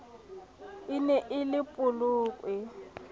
e ne e le polokwe